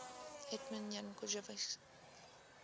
hetman jan chodkiewicz